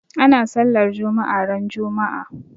Ana sallar juma'a ran juma'a.